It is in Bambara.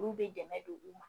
Olu bɛ dɛmɛ don u ma